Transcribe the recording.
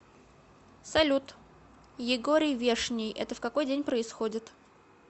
салют егорий вешний это в какой день происходит